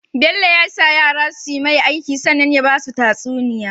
Bello ya sa yara suyi mai aiki sannan ya basu tatsuniya